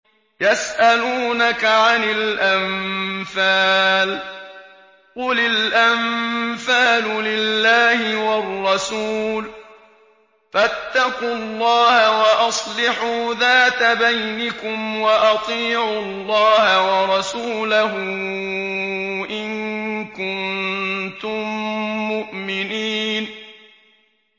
يَسْأَلُونَكَ عَنِ الْأَنفَالِ ۖ قُلِ الْأَنفَالُ لِلَّهِ وَالرَّسُولِ ۖ فَاتَّقُوا اللَّهَ وَأَصْلِحُوا ذَاتَ بَيْنِكُمْ ۖ وَأَطِيعُوا اللَّهَ وَرَسُولَهُ إِن كُنتُم مُّؤْمِنِينَ